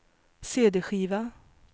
cd-skiva